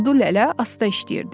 Kudu Lələ asta işləyirdi.